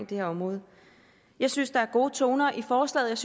det her område jeg synes der er gode toner i forslaget